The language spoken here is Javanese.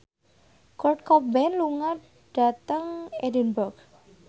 Kurt Cobain lunga dhateng Edinburgh